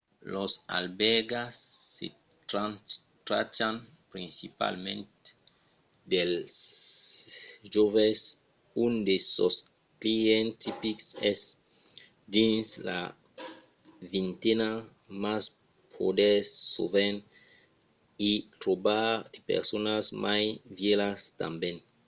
las albèrgas se trachan principalament dels joves – un de sos clients tipics es dins la vintena – mas podètz sovent i trobar de personas mai vièlhas tanben